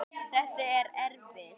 Þessi er erfið.